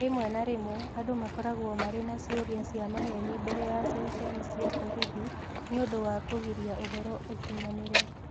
Rĩmwe na rĩmwe, andũ makoragwo marĩ na ciũria cia maheeni mbere ya ceceni cia borithi nĩ ũndũ wa kũgiria ũhoro ũkinyanĩre.